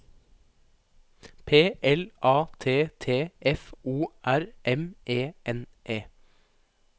P L A T T F O R M E N E